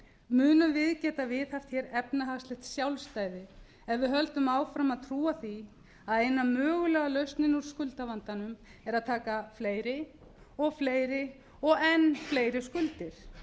munum við geta viðhaft hér efnahagslegt sjálfstæði ef við höldum áfram að trúa því að eina mögulega lausnin úr skuldavandanum sé að taka fleiri og fleiri og enn fleiri skuldir